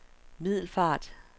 Middelfart